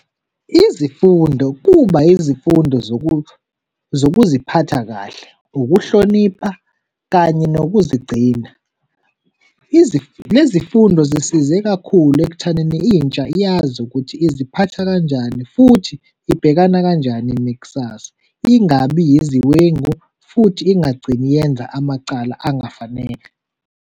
Izifundo kuba izifundo zokuziphatha kahle, ukuhlonipha kanye nokuzigcina. Lezi fundo zisize kakhulu ekuthaneni intsha yazi ukuthi iziphatha kanjani futhi ibhekana kanjani nekusasa, ingabi iziwengu futhi ingagcini yenza amacala angafanele.